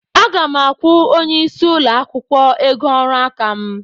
Aga m akwụ onye isí ụlọ akwụkwọ ego ọrụ aka m.